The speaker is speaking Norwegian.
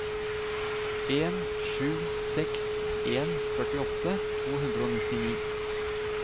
en sju seks en førtiåtte to hundre og nittini